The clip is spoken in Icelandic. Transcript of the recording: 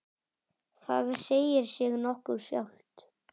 Það segir sig nokkuð sjálft.